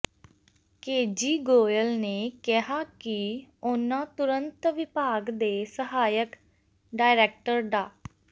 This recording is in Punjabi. ਕੇਜੀ ਗੋਇਲ ਨੇ ਕਿਹਾ ਕਿ ਉਨ੍ਹਾਂ ਤੁਰੰਤ ਵਿਭਾਗ ਦੇ ਸਹਾਇਕ ਡਾਇਰੈਕਟਰ ਡਾ